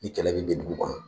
Ni kɛlɛ bɛ bin dugu kan